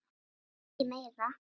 Kannski meira.